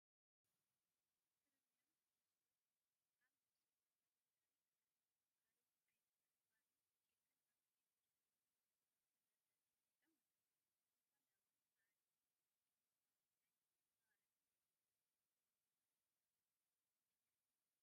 ፕሪሚዮን ቢስኩት ኣብ ነፍሲ ወከፍ መደርደሪ ይርአ። ካልኦት ዓይነታት ባኒን ኬክን ኣብቲ ብድሕሪኦም ዘሎ መደርደሪ ተቐሚጦም ኣለዉ። ንዝኾነ እዋን መዓልቲ ፍጹም ዝኾነ ናይ መቐረትን ሓጐስን ስምዒት ዘመሓላልፍ ትርኢት እዩ።